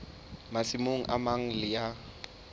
masimong a mang le a